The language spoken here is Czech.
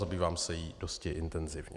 Zabývám se jí dosti intenzivně.